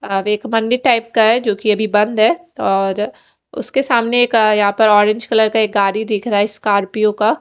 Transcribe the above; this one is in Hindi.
अ एक मंदिर टाइप का है जोकि अभी बंद है और उसके सामने यहाँ पर एक ओरेंज कलर का गाड़ी दिख रहा है स्कार्पियो का--